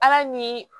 Ala ni